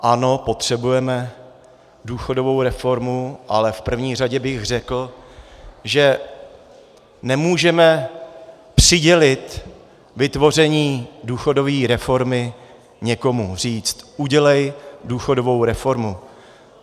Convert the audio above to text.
Ano, potřebujeme důchodovou reformu, ale v první řadě bych řekl, že nemůžeme přidělit vytvoření důchodové reformy někomu, říct: Udělej důchodovou reformu!